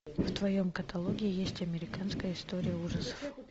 в твоем каталоге есть американская история ужасов